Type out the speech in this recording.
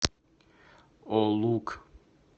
олук